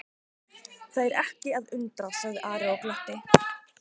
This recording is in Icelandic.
Það er ekki að undra, sagði Ari og glotti.